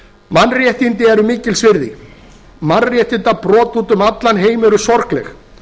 mannréttindi eru mikils virði mannréttindabrot út um allan heim eru sorgleg